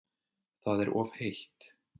Það er of heitt